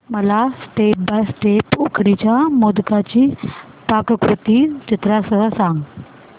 मला step by step उकडीच्या मोदकांची पाककृती चित्रांसह सांग